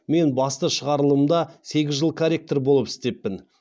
мен басты шығарылымда сегіз жыл корректор болып істеппін